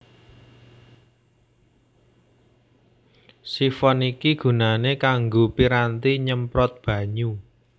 Sifon iki gunané kanggo piranti nyemprot banyu